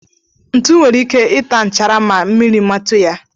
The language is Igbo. Ntu nwere ike ita nchara ma mmiri metu ya.